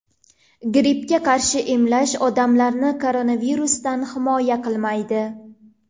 Grippga qarshi emlash, odamlarni koronavirusdan himoya qilmaydi.